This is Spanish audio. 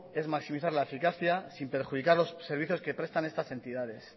es maximizar la eficacia sin perjudicar los servicios que prestan estas entidades